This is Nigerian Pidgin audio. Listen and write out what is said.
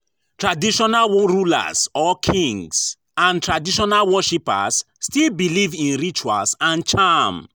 Traditional rulers or kings and traditional worshippers still believe in rituals and charm